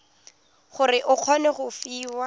gore o kgone go fiwa